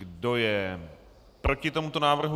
Kdo je proti tomuto návrhu?